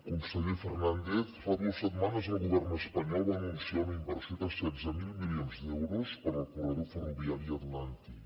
conseller fernández fa dues setmanes el govern espanyol va anunciar una inversió de setze mil milions d’euros per al corredor ferroviari atlàntic